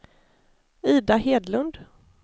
Ida Hedlund